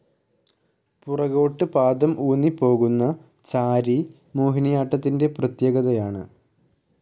പുറകോട്ട് പാദം ഊന്നിപോകുന്ന ചാരി മോഹിനിയാട്ടാത്തിൻ്റെ പ്രത്യേകതയാണ്.